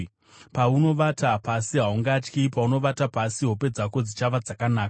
paunovata pasi, haungatyi; paunovata pasi, hope dzako dzichava dzakanaka.